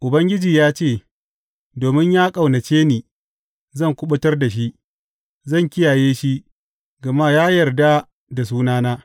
Ubangiji ya ce, Domin ya ƙaunace ni, zan kuɓutar da shi; zan kiyaye shi, gama ya yarda da sunana.